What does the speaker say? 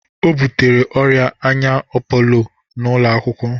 O butere ọrịa anya apoolo n'ụlọakwụkwọ